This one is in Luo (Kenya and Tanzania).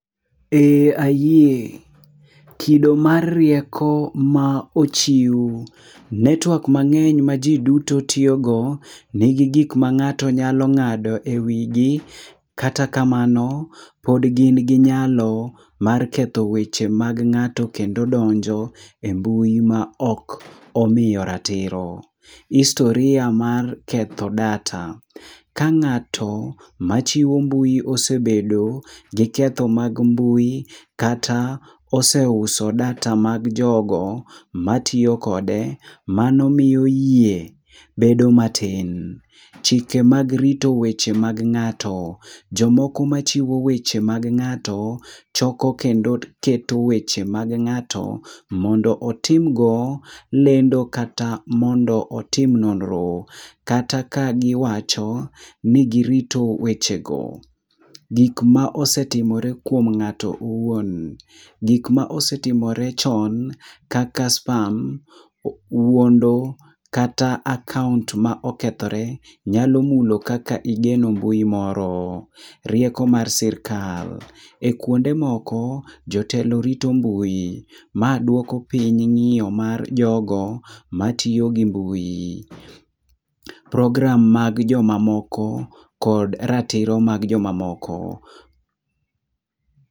Ee ayie, kido mar rieko ma ochiw. Netwak mang'eny ma ji duto tiyogo, nigi gik ma ng'ato nyalo ng'ado e wigi. Kata kamano, pod gin gi nyalo mar ketho weche mag ng'ato kendo donjo e mbui ma ok omiyo ratiro . Hisotira mar ketho data: ka ng'ato ma chiwo mbui osebedo gi ketho mag mbui, kata oseuso data mag jogo matiyo kode. Mano miyo yie bedo matin. Chike mag rito weche mag ng'ato: jomoko ma chiwo weche mag ng'ato, choko kendo keto weche mag ng'ato. Mondo otim go lendo kata mondo otim nonro. Kata ka giwacho ni gitito weche go. Gik ma osetimore kuom ng'ato owuon: gik ma osetimore chon kaka spam, wuondo kata akaont ma okethore, nyalo mulo kaka igeno mbui moro. Rieko mar sirkal: e kuonde moko, jotelo rito mbui. Ma dwoko piny ng'iyo mar jogo ma tiyo gi mbui. Program mag joma moko kod ratiro mag joma moko.